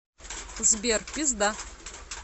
сбер пизда